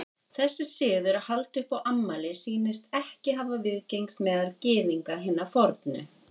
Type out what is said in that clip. Þessi siður að halda upp á afmæli sýnist ekki hafa viðgengist meðal Gyðinga hinna fornu.